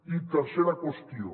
i tercera qüestió